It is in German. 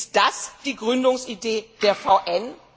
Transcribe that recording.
Ist das die Gründungsidee der VN?